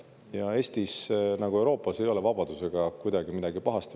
Ja Eestis nagu mujalgi Euroopas ei ole vabadusega kuidagi midagi pahasti.